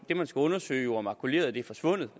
det man skal undersøge jo er makuleret er forsvundet